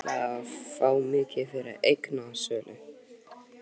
Hvað ætliði að fá mikið fyrir eignasölu?